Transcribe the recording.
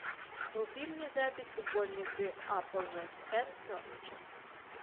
вруби мне запись футбольной игры апл вест хэм с норвичем